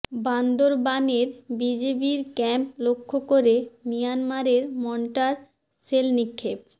বান্দরবানের বিজিবির ক্যাম্প লক্ষ্য করে মিয়ানমারের মর্টার শেল নিক্ষেপ